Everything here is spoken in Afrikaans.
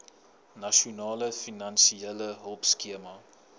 nasionale finansiële hulpskema